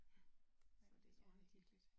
Ja men det er det